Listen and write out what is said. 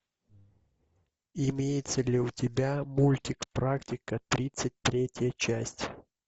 имеется ли у тебя мультик практика тридцать третья часть